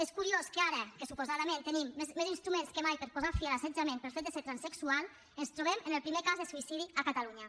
és curiós que ara que suposadament tenim més instruments que mai per posar fi a l’assetjament pel fet de ser transsexual ens trobem amb el primer cas de suïcidi a catalunya